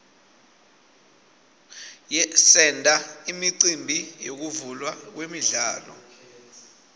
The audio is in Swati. senta imicimbi yekuvulwa kwemidlalo